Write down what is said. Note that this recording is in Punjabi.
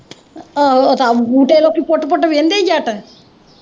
ਆਹੋ ਉਹ ਤਾਂ, ਜਦੋਂ ਕਿ ਫੁੱਟ-ਫੁੱਟ ਵੇਂਹਦੇ ਜੱਟ